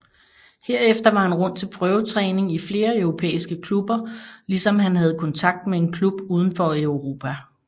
Herefter var han rundt til prøvetræning i flere europæiske klubber ligesom han havde kontakt med en klub uden for Europa